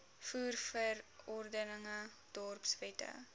voer verordeninge dorpswette